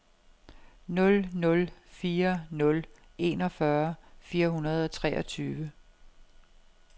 nul nul fire nul enogfyrre fire hundrede og treogtyve